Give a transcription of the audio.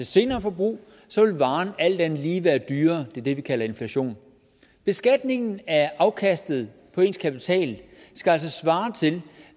senere forbrug vil varen alt andet lige være dyrere det er det vi kalder inflation beskatningen af afkastet af ens kapital skal altså svare til